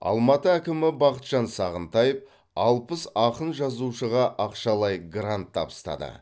алматы әкімі бақытжан сағынтаев алпыс ақын жазушыға ақшалай грант табыстады